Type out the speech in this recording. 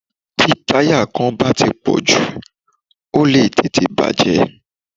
Tí táyà kan bá ti pọ̀ jù, ó lè tètè bà jẹ́.